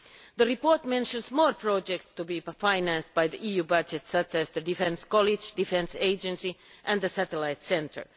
The report mentions more projects to be financed by the EU budget, such as the defence college, defence agency and the satellite centre.